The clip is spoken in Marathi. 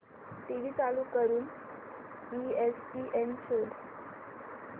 टीव्ही चालू करून ईएसपीएन शोध